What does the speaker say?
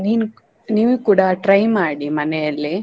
ನೀನು ನೀವು ಕೂಡ try ಮಾಡಿ ಮನೆಯಲ್ಲಿ.